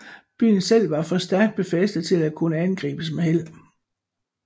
Byen selv var for stærkt befæstet til at kunne angribes med held